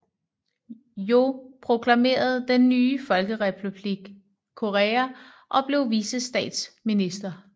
Yoh proklamerede den nye folkerepublik Korea og blev vicestatsminister